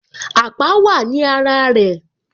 Àpá wá ní ara rẹ